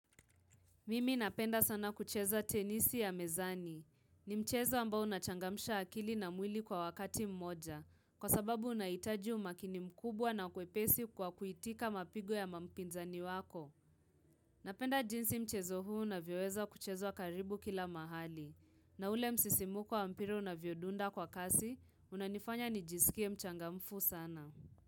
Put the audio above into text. Mimi napenda sana kucheza tenisi ya mezani. Ni mchezo ambao unachangamusha akili na mwili kwa wakati mmoja, kwa sababu unaitaji umakini mkubwa na kwepesi kwa kuitika mapigo ya mampinzani wako. Napenda jinsi mchezo huu na vyoweza kucheza karibu kila mahali. Na ule msisimuko wa mpira na unavyodunda kwa kasi, unanifanya nijisikie mchangamfu sana.